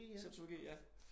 Septologi ja